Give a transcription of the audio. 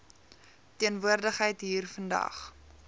teenwoordigheid hier vandag